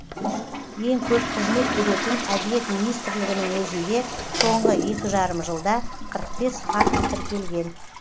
ең көп қызмет беретін әділет министрлігінің өзінде соңғы екі жарым жылда қырық бес факті тіркелген